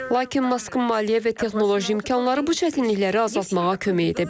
Lakin Maskın maliyyə və texnoloji imkanları bu çətinlikləri azaltmağa kömək edə bilər.